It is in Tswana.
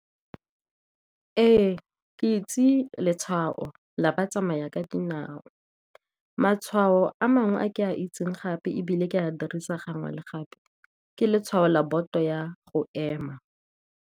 Ee, ke itse letshwao la batsamaya ka dinao. Matshwao a mangwe a ke a itseng gape, ebile ke a dirisa gangwe le gape ke letshwao la boto ya go ema.